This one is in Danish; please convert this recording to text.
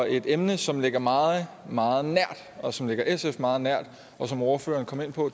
et emne som ligger mig meget nært og som ligger sf meget nært og som ordføreren kom ind på